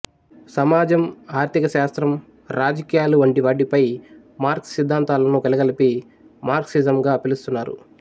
సమాజం ఆర్థిక శాస్త్రం రాజకీయాలు వంటివాటిపై మార్క్స్ సిద్ధాంతాలను కలగలిపి మార్క్సిజంగా పిలుస్తున్నారు